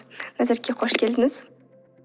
назерке қош келдіңіз